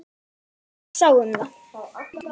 Einar sá um það.